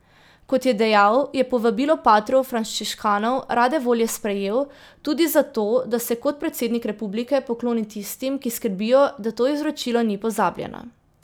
Kot je dejal, je povabilo patrov frančiškanov rade volje sprejel, tudi zato, da se kot predsednik republike pokloni tistim, ki skrbijo, da to izročilo ni pozabljeno.